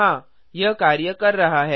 हाँ यह कार्य कर रहा है